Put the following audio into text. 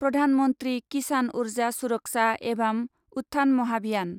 Pradhan Mantri Kisan Urja Suraksha evam Utthan Mahabhiyan